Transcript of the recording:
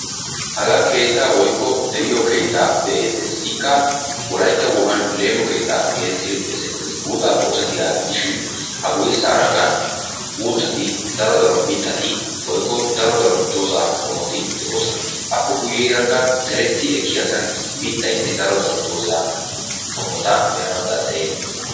Hagaa keettaa woykko de'iyo keettaa be'eettes. Ikka wolaytta wogan leemo keettaa geettettidi xeesettes. buuxaappe oosettiyagaa gidishin a guyesankka uuttati, daro daro mittati woykko daro daro doza qommoti de'oosona. Appe guyeerakka deretti ekkiyasan mittayinne daro daro doza qommota be'anawu danddayetees.